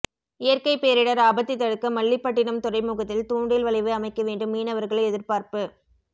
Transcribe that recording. இயற்கை பேரிடர் ஆபத்தை தடுக்க மல்லிப்பட்டினம் துறைமுகத்தில் தூண்டில் வளைவு அமைக்க வேண்டும் மீனவர்கள் எதிர்பார்ப்பு